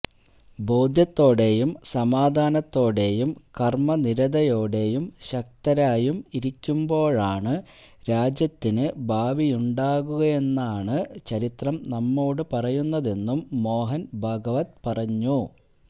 ബോധ്യത്തോടെയും സമാധാനത്തോടെയും കര്മ്മനിരതയോടെയും ശക്തരായും ഇരിക്കുമ്പോഴാണ് രാജ്യത്തിന് ഭാവിയുണ്ടാകുന്നതെന്നാണ് ചരിത്രം നമ്മോട് പറയുന്നതെന്നും മോഹന് ഭാഗവത് പറഞ്ഞു